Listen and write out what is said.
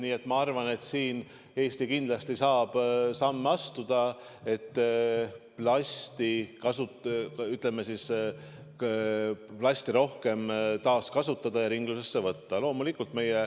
Nii et ma arvan, et siin saab Eesti kindlasti samme astuda, et plasti rohkem taaskasutataks ja ringlusesse võetaks.